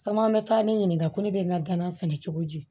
Caman bɛ taa ne ɲininka ko ne bɛ n ka danan sɛnɛ cogo di